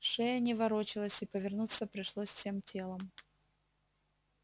шея не ворочалась и повернуться пришлось всем телом